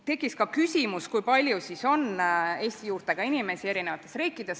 Tekkis ka küsimus, kui palju siis on eri riikides Eesti juurtega inimesi.